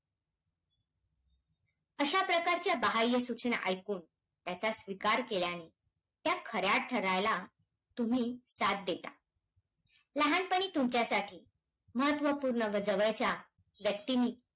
अशा प्रकारच्या बहाय्य सूचना ऐकून, त्याचा स्वीकार केल्याने त्या खऱ्या ठरायला तुम्ही साथ देता. लहानपणी तुमच्यासाठी महत्वपूर्ण व जवळच्या व्यक्तींनी,